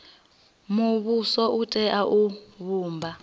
muvhuso u tea u vhumba